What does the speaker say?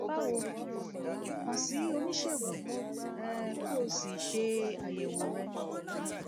báwo kàn sí oníṣègùn um kí o sì ṣe àyẹwò rẹ